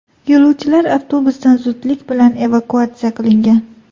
Yo‘lovchilar avtobusdan zudlik bilan evakuatsiya qilingan.